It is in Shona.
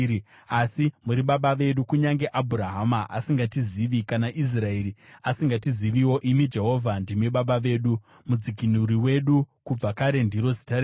Asi muri Baba vedu, kunyange Abhurahama asingatizivi kana naIsraeri asingatiziviwo; imi, Jehovha, ndimi Baba vedu, Mudzikinuri wedu kubva kare ndiro zita renyu.